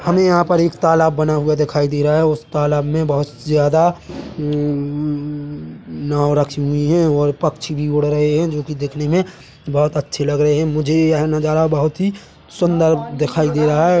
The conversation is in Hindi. हमें यहाँ पे एक तालाब बना हुआ दिखाई दे रहा है उसे तालाब में बहुत ज्यादा अम्म उम्म नाव रखी हुई है और पक्षी भी उड़ रहे है जो की दिखने में बहोत अच्छे लग रहे है मुझे यह नज़ारा बहोत ही सुंदर दिखाई दे रहा है।